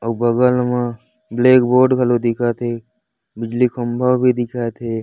और बगल मा ब्लैक बोर्ड घलो दिखत हे बिजली खम्भा भी दिखत हे।